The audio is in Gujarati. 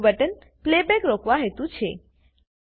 બીજું બટન પ્લેબેક રોકવા હેતુ છે